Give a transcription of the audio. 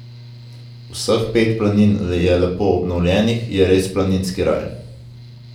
Vseh pet planin je lepo obnovljenih, je res planinski raj!